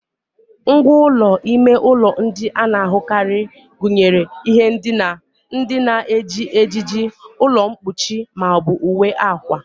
Ngwá ụlọ ime ụlọ ndị a na-ahụkarị gụnyere ihe ndina, ndị na-eji ejiji, ụlọ mkpuchi ma ọ bụ uwe akwa